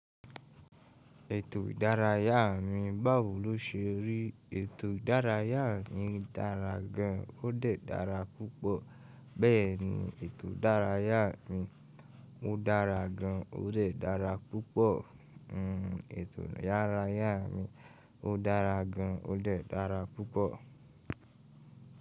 Ètò ìdárayá mi bàwò ló ṣe rí. Ètò ìdárayá mi dára gan, ó dẹ̀ dára púpọ̀. Bẹ́ẹ̀ ni, ètò ìdárayá mi ó dára gan, ó dẹ̀ dára púpọ̀. Ètò ìdárayá mi ó dára gan, ó dẹ̀ dára púpọ̀.